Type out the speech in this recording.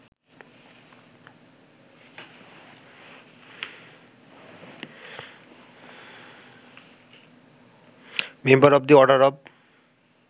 member of the order of